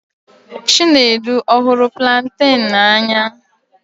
Chinedu ọ̀ hụrụ planten n'anya?